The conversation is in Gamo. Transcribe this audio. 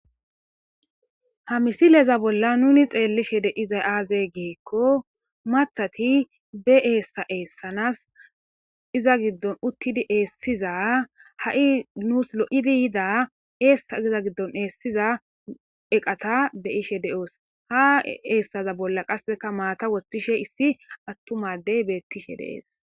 Ha misileza bolla nuni xeellishe deizay aaze geekko mathati be eessa eessanas iza giddon uttidi eessiza ha7i nuus lo7idi yida eessa iza giddon eessiza eqata be ishe de7oos ha eessaza bolla qasseka maata wostishe issi attumadey beettishe dees.